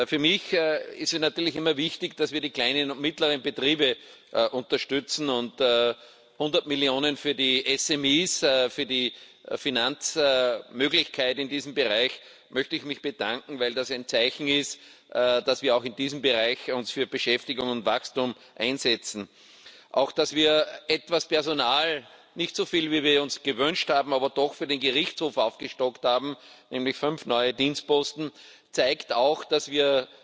Für mich ist es natürlich immer wichtig, dass wir die kleinen und mittleren Betriebe unterstützen, und für 100 Millionen für die SME, für die Finanzmöglichkeit in diesem Bereich möchte ich mich bedanken, weil das ein Zeichen ist, dass wir uns auch in diesem Bereich für Beschäftigung und Wachstum einsetzen. Auch dass wir etwas Personal nicht so viel, wie wir uns gewünscht haben, aber doch für den Gerichtshof aufgestockt haben, nämlich fünf neue Dienstposten, zeigt, dass wir